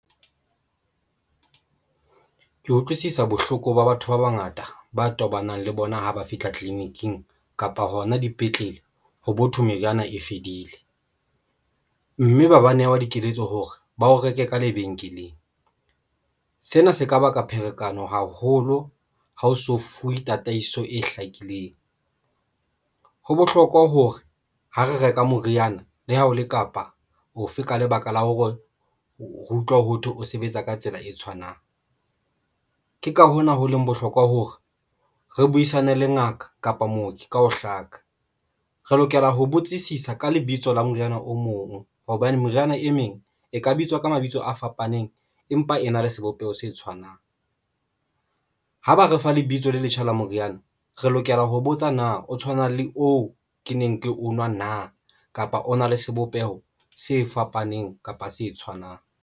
Ke utlwisisa bohloko ba batho ba bangata ba tobanang le bona ha ba fihla tleliniking kapa hona dipetlele. Ho bo thwe meriana e fedile mme ba ba newa dikeletso hore ba o reke ka lebenkeleng. Sena se ka baka pherekano haholo. Ha o so fuwe tataiso e hlakileng. Ho bohlokwa hore ha re reka moriana le ha o le kapa ofe ka lebaka la hore re utlwa hothwe o sebetsa ka tsela e tshwanang, ke ka hona ho leng bohlokwa hore re buisane le ngaka kapa mooki ka ho hlaka. Re lokela ho botsisisa ka lebitso la moriana o mong hobane meriana e meng, e ka bitswa ka mabitso a fapaneng, empa e na le sebopeho se tshwanang ha ba re fa lebitso le letjha la moriana re lokela ho botsa na o tshwana le oo ke neng ke onwa na, kapa o na le sebopeho se fapaneng kapa se tshwanang.